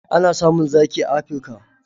Ana samun zaki a Afirka.